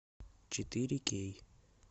четыре кей